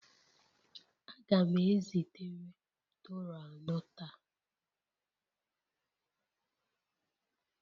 Aga m ezitere Toro anọ taa